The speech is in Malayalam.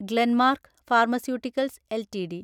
Glenmark Pharmaceuticals LTD